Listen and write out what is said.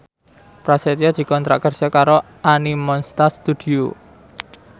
Prasetyo dikontrak kerja karo Animonsta Studio